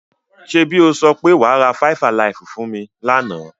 Ṣẹ́bi o sọ pé wa ra Faifalaifú fún mi lánà?